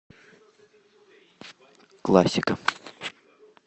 классика